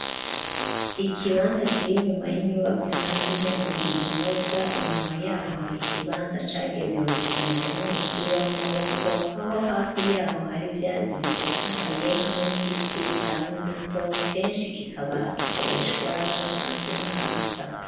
Ikibanza kiri inyuma y'inyubakwa isanzwe ihingura ibinyobwa inyuma yaho hari ikibanza cagenewe gukinirwamwo umupira w'amaboko aho hafi yaho hari ivyatsi bitotahaye hamwe n'igiti cama imbuto keshi kikaba gikoreshwa n'abasanzwe bahaza